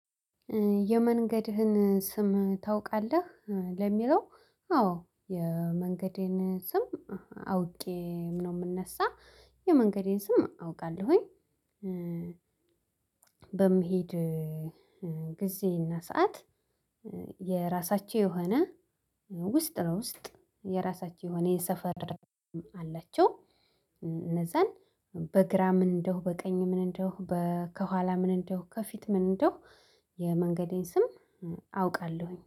የመንገድህን ስም ታውቃለህ ለሚለው? አዎ የመንገዴን ስም አውቄ ነው የምነሳ የመንገዴን ስም አውቃለሁኝ። በምሄድ ጊዜና ሰዓት የራሳቸው የሆነ ውስጥ ለውስጥ የራሳችሁ የሆነ የሰፈር አላቸው። እነዛን በግራ ምን እንደሁ በቀኝ ምን እንደሁ ከኋላ ምን እንደሁ ከፊት ምን እንደሁ? የመንገዴን ስም አውቃለሁኝ